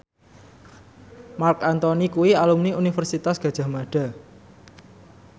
Marc Anthony kuwi alumni Universitas Gadjah Mada